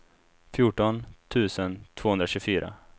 fjorton tusen tvåhundratjugofyra